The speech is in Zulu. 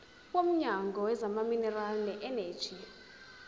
womnyango wezamaminerali neeneji